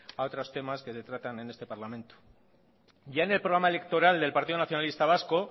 a otros temas que se tratan en este parlamento ya en el programa electoral del partido nacionalista vasco